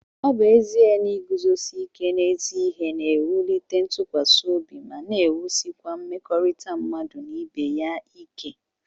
Ọ bụ ezie na iguzosi ike n'ezi ihe na-ewulite ntụkwasị obi má n'ewusikwa mmekọrịta mmadụ na ibeya ìkè